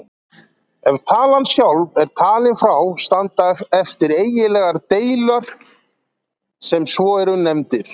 Ef talan sjálf er talin frá standa eftir eiginlegir deilar sem svo eru nefndir.